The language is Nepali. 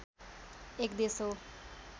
एक देश हो